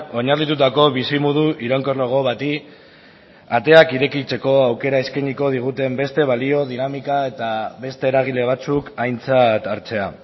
oinarritutako bizimodu iraunkorrago bati ateak irekitzeko aukera eskainiko diguten beste balio dinamika eta beste eragile batzuk aintzat hartzea